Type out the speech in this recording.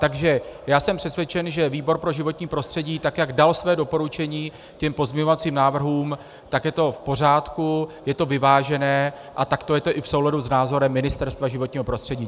Takže já jsem přesvědčen, že výbor pro životní prostředí, tak jak dal své doporučení těm pozměňovacím návrhům, tak je to v pořádku, je to vyvážené a takto je to i v souladu s názorem Ministerstva životního prostředí.